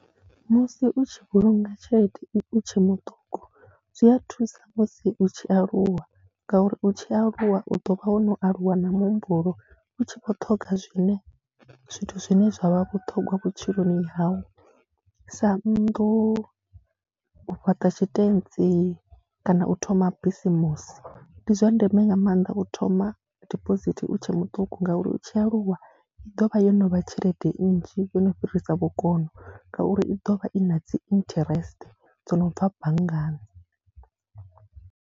Musi u tshi vhulunga tshelede u tshe muṱuku zwi a thusa musi u tshi aluwa ngauri u tshi aluwa u ḓo vha wo no aluwa na muhumbulo, u tshi vhoṱhoga zwine zwithu zwine zwa vha vhuṱhongwa vhutshiloni hau sa nnḓu, u fhaṱa tshitentsi kana u thoma bisimusi. Ndi zwa ndeme nga maanḓa u thoma dibosithi u tshe muṱuku ngauri u tshi aluwa i ḓo vha yo no vha tshelede nnzhi, yo no fhirisa vhukono ngauri i ḓo vha i na dzi interest dzo no bva banngani.